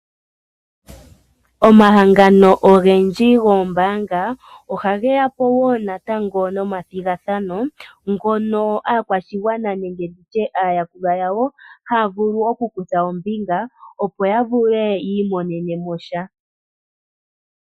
Omahangano ogendji goombaanga, oha geya po woo natango nomathigathano ngono aakwashigwana nenge tutye aayakulwa yawo, haa vulu oku kutha ombinga opo ya vule yiimonene mo sha.